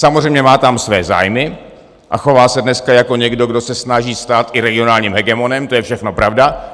Samozřejmě má tam své zájmy a chová se dneska jako někdo, kdo se snaží stát i regionálním hegemonem, to je všechno pravda.